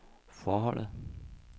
forholdet